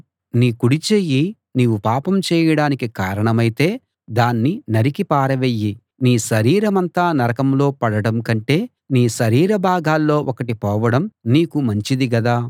నీ కుడి చెయ్యి నీవు పాపం చేయడానికి కారణమైతే దాన్ని నరికి పారవెయ్యి నీ శరీరమంతా నరకంలో పడడం కంటే నీ శరీర భాగాల్లో ఒకటి పోవడం నీకు మంచిది గదా